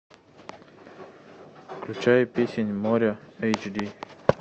включай песнь моря эйч ди